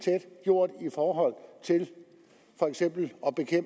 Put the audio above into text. gjort i forhold til for eksempel